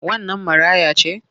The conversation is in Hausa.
Wannan maraya ce?